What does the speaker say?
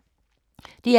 DR K